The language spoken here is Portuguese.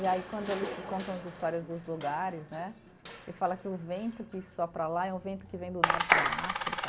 E aí, quando eles contam as histórias dos lugares né, ele fala que o vento que sopra lá é um vento que vem do norte da África.